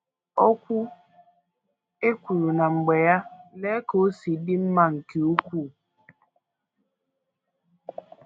“ Okwu e kwuru na mgbe ya, lee ka o si dị mma nke ukwuu! ”